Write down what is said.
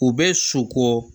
U bɛ so ko